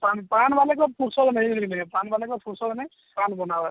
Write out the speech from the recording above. ପାନ ପାନ ବୋଲେ କେ ଆଉ ଫୁରସତ ମିଲିବନି ହେନ୍ତା କାଏଁ ପାନ ବାଳକ ଫୁରସତ ନାଇଁ ପାନ ବନାଇବାର